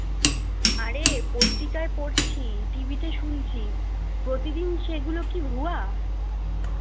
আরে পত্রিকায় পড়ছি টিভিতে শুনছি প্রতিদিন সেগুলো কি হুয়া